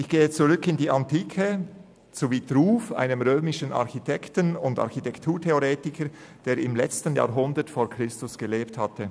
Ich greife auf die Antike zurück, zu Vitruv, einem römischen Architekten und Architekturtheoretiker, der im letzten Jahrhundert vor Christus lebte.